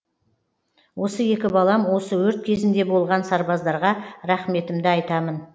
осы екі балам осы өрт кезінде болған сарбаздарға рақыметімді айтамын